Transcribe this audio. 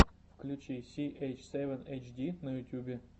включи си эйч севен эйч ди на ютьюбе